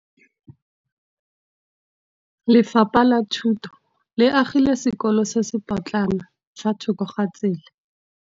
Lefapha la Thuto le agile sekôlô se se pôtlana fa thoko ga tsela.